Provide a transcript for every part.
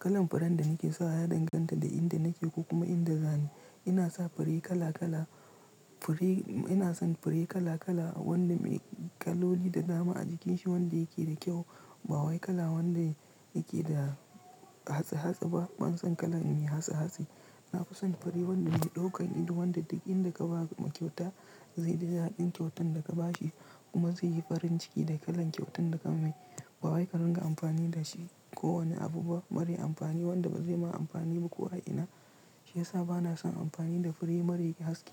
Kalan furen da nake sawa ya danganta da inda nake ko kuma inda za ni. Ina sa fure kala kala, fure, ina son fure kala kala wanda me kaloli da dama a jikin shi wanda yake da kyau. Ba wai kala wanda yake da hatsa hatsa ba. Ban son kala me hatsa hatsa. Na fi son fure wanda mai ɗaukan ido, wanda duk inda ka ba ma kyauta zai ji daɗin kyautan da ka ba shi kuma zai yi farin ciki da kalan kyautan da ka mai. Ba wai ka ringa amfani da shi ko wani abu ba. Bari amfani wanda ba zai ma amfani ba ko a ina, shi yasa ba na son amfani da fure mara haske.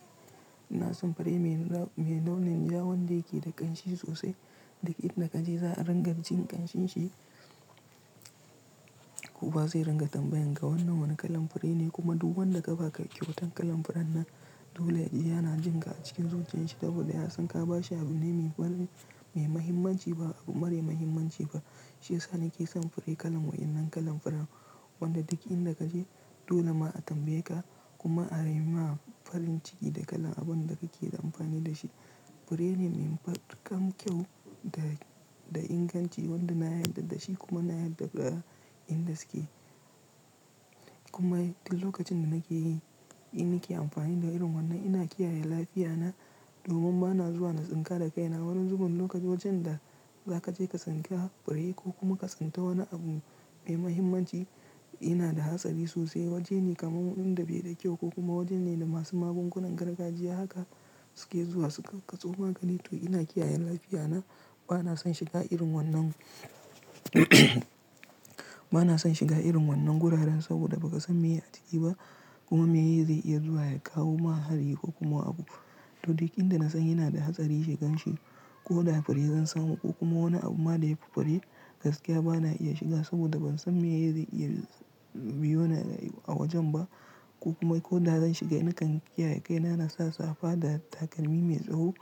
Ina son fure mai ra-- mai launin ja wanda yake da ƙanshi sosai. Duk inda kaje za a ringa jin ƙanshin shi kowa zai ringa tambayan ka wannan wane kalan fure ne kuma duk wanda ka ba kyautan kalan furen nan dole yana jin ka a cikin zuciyar shi saboda ya san ka ba shi abune me bari, mai mahimmanci ba abu mara mahimmanci ba. Shi yasa nake son fure kalan waɗannan kalan furen. Wanda dik in da ka je dole ma a tambaye ka kuma a raina farin ciki da kalan abun da kake da amfani da shi. Fure ne mai matukar kyau da, da inganci wanda na yarda da shi kuma na yarda da inda suke. Kuma duk lokacin da nake yi, in na ke amfani da irin wannan ina kiyaye lafiyana domin ba na zuwa na tsinka da kaina. Wani zuben lokaci wajen da za ka je ka tsinka fure ko kuma ka tsinta wani abu mai mahimmanci, ina da hatsari sosai. Waje ne kamar wanda bai da kyau ko kuma waje ne da masu magungunan gargajiya haka suke zuwa suka katso maganito. Ina kiyaye lafiyana. Ba na son shiga irin wannan ba na son shiga irin wannan guraren saboda ba ka san me a ciki ba kuma me ye zai iya zuwa ya kawo ma hari ko kuma abu. To duk in da na san yana da hatsari shigan shi ko da fure zan samu ko kuma wani abu ma da yafi fure gaskiya ba na iya shiga saboda ban san me ye zai iya biyoni a wajen ba ko kuma ko da zan shiga na kan kiyaye kaina na sa safa da takalmi mai tsaho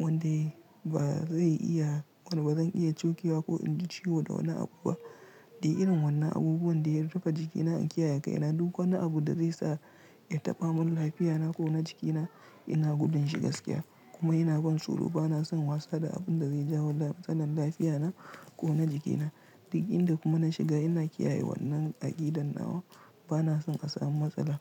wanda ba zai iya, wanda ba zan iya cokewa ko in ji ciwo da wani abu ba. Da irin wannan abubuwan da ya rufe jikina in kiyaye kaina duk wani abu da zai sa ya taɓa mun lafiyana ko na jikina ina gudun shi gaskiya kuma inaban tsoro. Ba na son wasa da abun da zai jawo matsalar lafiya na ko na jikina. Duk in da kuma na shiga ina kiyaye wannan aƙidan nawa. Ba na son a samu matsala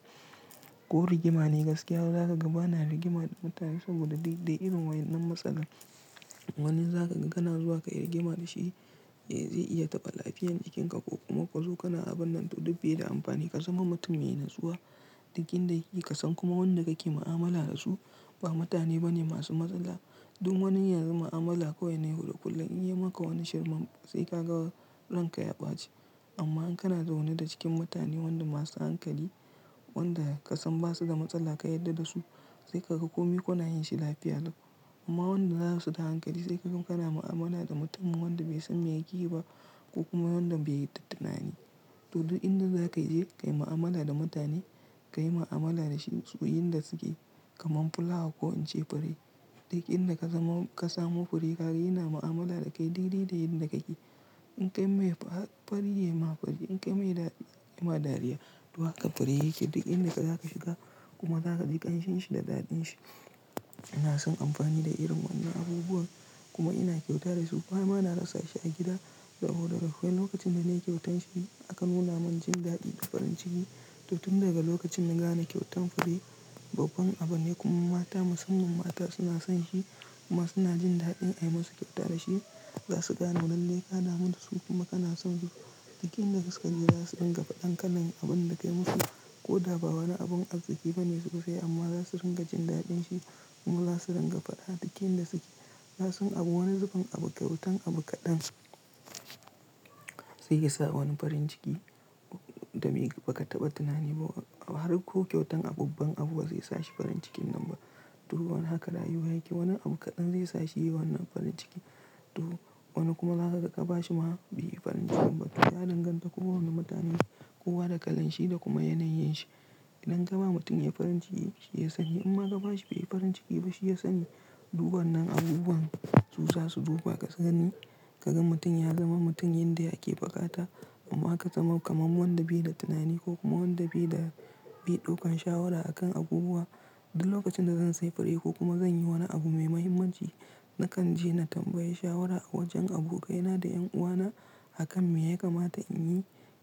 ko rigima ne gaskiya. Don zaka ga ba na rigima da mutane saboda dik, da irin wannan matsalan. Wani zaka ga kana zuwa ka yi rigima da shi zai iya taɓa lafiyan jikinka ko kuma ka zo kana abun nan to duk bai da amfani. Ka zama mutum mai natsuwa duk in da yake kasan kuma wanda kake ma'amala da su ba mutane bane masu matsala. Don wani yanzu ma'amala ko wai ne yau da kullum in ya yi maka wani shirman sai ka ga ranka ya ɓaci. Amma in kana zaune da cikin mutane wanda masu hankali wanda ka san basu da matsala ka yarda da su sai ka ga kome kuna yin shi lafiya. Amma wanda ba su da hankali sai ka ga kana mu'amala da mutum wanda bai san me yake yi ba ko kuma wanda bai da tunani. To duk inda za ka je ka yi mu'amala da mutane ka yi mu'amala da su yin da suke kamar fulawa ko in ce fure. Duk in da ka zama ka samo fure ka gina mu'amala da kai daidai da yadda kake. In kai mai fa, fari yayi ma fari in kai mai da, yi ma dariya. Don haka fure yake duk in da za ka shiga kuma za ka ji ƙanshin shi da daɗin shi. Ina son amfani da irin wannan abubuwan kuma ina kyauta da su kuma bana rasa shi a gida saboda duk wani lokacin da nake kyautan shi aka nuna mun jin daɗin farin ciki. To tun daga lokacin na gane kyautan fure babban abu ne kuma mata, musamman mata suna son shi kuma suna jin daɗin a yi masu kyauta da shi. Za su gano lalle ka damu dasu kuma kana son su. Duk in da suka jeza su rika faɗan kalan abun da kai musu ko da ba wani abun arziki bane sosai amma za su ringa jin daɗin shi kuma za su ringa faɗa duk in da suke. Za su abu wani zuben abu kyautan abu kaɗan zai iya sa wani farin ciki da bai, ba ka taɓa tunani ba. Har ko kyautan babban abu bazai sashi farin cikin nan ba. To wani haka rayuwa yake. Wani abu kaɗan zai sashi yi wannan farin ciki. To wani kuma za ka ga ka ba shi ma bai yi farin ciki ba. To ya danganta ko wani mutune kowa da kalan shi da kuma yanayin shi. Idan ka ba mutum ya yi farin ciki shi ya sani imma ka ba shi bai yi farin ciki ba shi ya sani. Duk wannan abubuwan suza su duba ka sugani ka gan mutum ya zama mutum yanda yake buƙata. Amma haka zama kamar wanda bai da tunani ko kuma wanda bai da, bai ɗaukan shawara a kan abubuwa. Duk lokacin da zan sayi fure ko kuma zan yi wani abu mai mahimmanci nakan je na tambayi shawara a wajen abokaina da ƴan uwana a kan me ya kamata in yi.